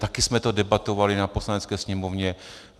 Také jsme to debatovali na Poslanecké sněmovně.